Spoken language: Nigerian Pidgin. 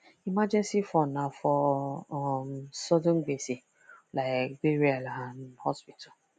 emergency fund na for um sudden gbese like burial and hospital